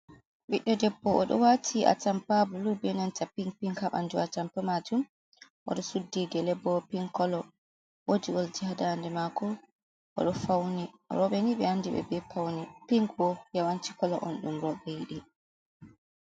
Biɗdo debbo o ɗo wati a tampa bulu be nanta pink, pink habandu a tampa majum, odo suddi gele bo ping kolo wodi oldj hadande mako oɗo fauni. Robeni be andi ɓe be paune, pink bo yawanci kolo on dum robe yiɗi.